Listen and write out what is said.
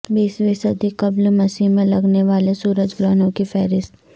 بیسویں صدی قبل مسیح میں لگنے والے سورج گرہنوں کی فہرست